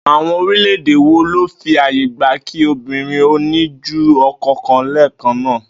Àwo̩n orílè̩-èdè wo ló fi àyè gba kí obìnrin ó ní ju o̩ko̩ kan lé̩è̩kan náà?